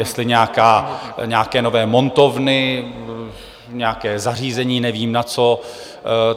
Jestli nějaké nové montovny, nějaké zařízení, nevím na co.